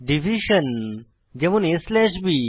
division যেমন aবি